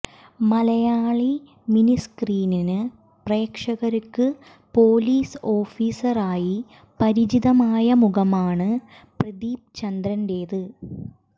Malayali miniscreen പ്രേക്ഷകര്ക്ക് police ഓഫീസറായി പരിചിതമായ മുഖമാണ് പ്രദീപ് ചന്ദ്രന്റേത്